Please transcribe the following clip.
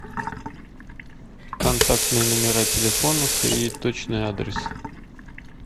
контактные номера телефонов и точный адрес